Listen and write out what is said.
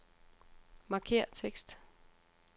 Markér tekst.